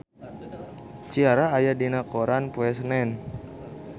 Ciara aya dina koran poe Senen